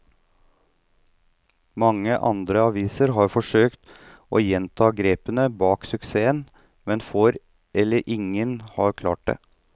Mange andre aviser har forsøkt å gjenta grepene bak suksessen, men få eller ingen har klart det.